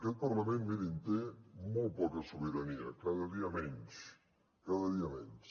aquest parlament mirin té molt poca sobirania cada dia menys cada dia menys